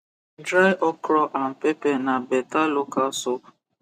dry okro and pepe na beta local soap